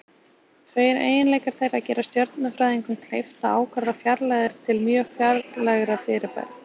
Tveir eiginleikar þeirra gera stjörnufræðingum kleift að ákvarða fjarlægðir til mjög fjarlægra fyrirbæra.